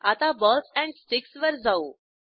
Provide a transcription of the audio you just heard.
आता balls and sticks वर जाऊ